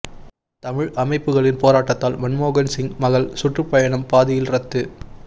தமிழ் அமைப்புகளின் போராட்டத்தால் மன்மோகன் சிங் மகள் சுற்றுப் பயணம் பாதியில் ரத்து